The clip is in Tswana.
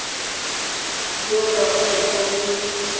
duelwa ka letlha le le